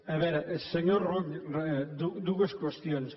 a veure senyor rull dues qüestions